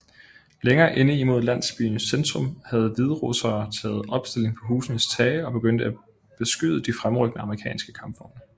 Længere inde mod landsbyens centrum havde hviderussere taget opstilling på husenes tage og begyndte at beskyde de fremrykkende amerikanske kampvogne